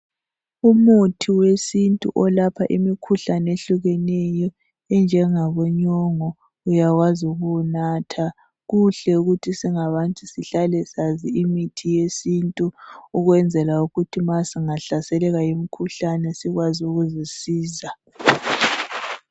Umuthi wesintu olapha imikhuhlane ehlukeneyo enjengabonyongo uyawazi ukuwunatha. Kuhle ukuthi singabantu sihlale sazi imithi yesintu ukwenzela ukuthi ma singahlaselelwa yimikhuhlane sikwazi ukuzisiza